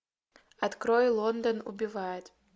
открой лондон убивает